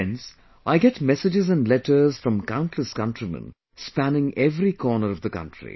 Friends, I get messages and letters from countless countrymen spanning every corner of the country